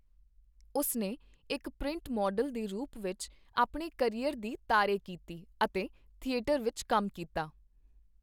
ਉਸਨੇ ਇੱਕ print model ਦੇ ਰੂਪ ਵਿੱਚ ਆਪਣੇ ਕਰੀਅਰ ਦੀ ਤਾਰੇ ਕੀਤੀ ਅਤੇ ਥੀਏਟਰ ਵਿੱਚ ਕੰਮ ਕੀਤਾ।